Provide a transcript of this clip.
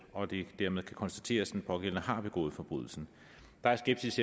og det dermed kan konstateres at den pågældende der er skepsis